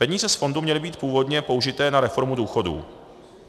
Peníze z fondu měly být původně použité na reformu důchodů.